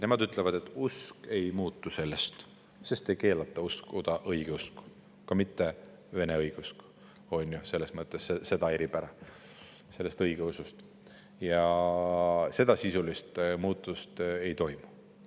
Nemad ütlevad, et usk ei muutu sellest, sest ei keelata uskuda õigeusku, ka mitte vene õigeusku, selles mõttes, et see osa õigeusust ei ole keelatud ja sisulist muutust ei toimu.